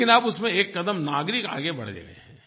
लेकिन अब उसमें एक कदम नागरिक आगे बढ़ गए हैं